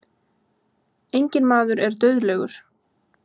Enginn maður er dauðlegur.